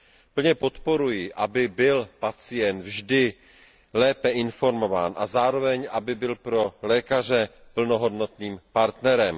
Plně podporuji, aby byl pacient vždy lépe informován a zároveň aby byl pro lékaře plnohodnotným partnerem.